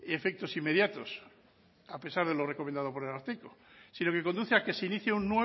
efectos inmediatos a pesar de lo recomendado por el ararteko si no que conduce a que se inicie un